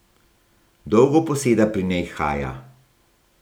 Dolgo poseda pri njej Haja.